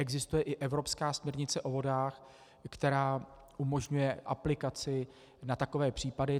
Existuje i evropská směrnice o vodách, která umožňuje aplikaci na takové případy.